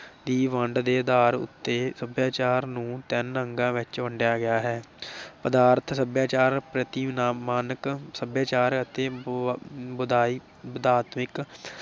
ਦੀ ਵੰਡ ਦੇ ਅਧਾਰ ਉਤੇ ਸਭਿਆਚਾਰ ਦੀ ਵੰਡ ਦੇ ਆਧਾਰ ਉਤੇ ਸਭਿਆਚਾਰ ਨੂੰ ਤਿੰਨ ਅੰਗਾਂ ਵਿਚ ਵੰਡਿਆ ਗਿਆ ਹੈ, ਪਦਾਰਥ ਸਭਿਆਚਾਰ, ਪ੍ਰਤੀਮਾਨਕ ਸਭਿਆਚਾਰ ਅਤੇ ਅਤੇ ਵਧਾਇਕ ਵਧਾਤਵਿਕ